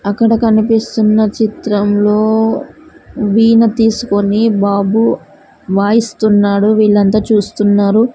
అక్కడ కనిపిస్తున్న చిత్రంలో వీణ తీసుకొని బాబు వాయిస్తున్నాడు వీళ్లంతా చూస్తున్నారు.